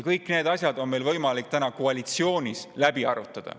Kõik need asjad on meil võimalik koalitsioonis läbi arutada.